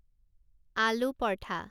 আলু পৰঠা